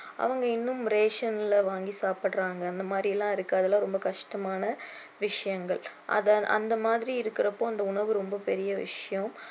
அவங்க இன்னும் ration ல வாங்கி சாப்பிடுறாங்க அந்த மாதிரி எல்லாம் இருக்கு அதெல்லாம் ரொம்ப கஷ்டமான விஷயங்கள் அதை அந்த மாதிரி இருக்கிறப்போ இந்த உணவு ரொம்ப பெரிய விஷயம்